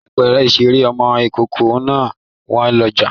Láìpẹ́ ìṣeré ọmọ ìkókó máa wọ́n lọ́jà.